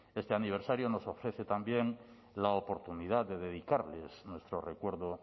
este aniversario nos ofrece también la oportunidad de dedicarles nuestro recuerdo